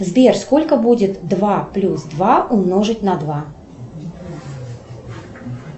сбер сколько будет два плюс два умножить на два